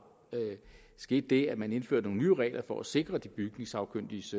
skete det at man indførte nogle nye regler for at sikre de bygningssagkyndiges